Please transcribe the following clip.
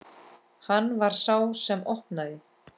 Hann var sá sem opnaði.